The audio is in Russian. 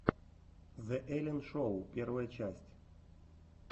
зе эллен шоу первая часть